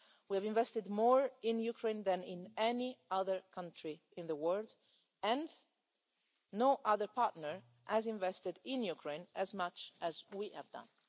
We have invested more in Ukraine than in any other country in the world and no other partner has invested in Ukraine as much as we have done.